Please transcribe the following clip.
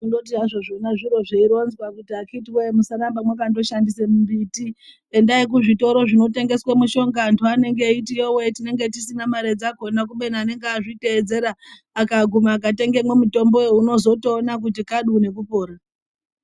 Kunoti haZvo zviro zveironzwa kuti akhiti wee musarambe mwakashandise mumbiti endai kuzvitoro zvinotengeswe mushonga antu anenge eiti yowee tinenge tisina mare dzakhona kubeni unenge azviteedzera akaguma akatengemwo mutomboyo unozotoona kuti kabu nekupora.